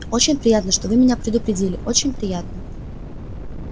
очень приятно что вы меня предупредили очень приятно